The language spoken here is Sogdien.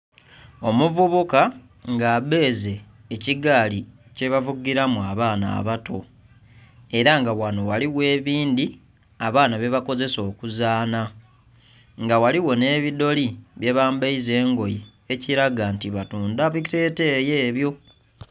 Omuvubuka nga abeeze ekigaali ekyebavugiramu abaana abato era nga ghanho ghaligho ebindhi abaana byebakozesa okuzanha nga ghaligho nhebidholi byebambeyiza engoye ekiraga nti batundha biteteyi ebyo.